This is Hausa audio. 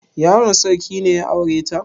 Yaron sarki ne ya aure ta?